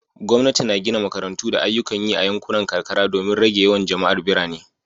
Gwamnati na gina makarantu da ayyukan yi a yankunan karkara domin rage yawan jama'ar birane